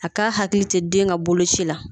A k'a hakili to den ka boloci la